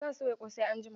Zan soya ƙosai anjima